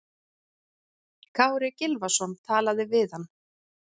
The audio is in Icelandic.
Kári Gylfason talaði við hann.